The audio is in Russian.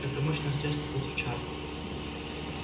это мощное средство против чар